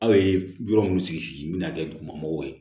Aw ye yɔrɔ mun sigi sigi n bɛ na kɛ dugumɔgɔw ye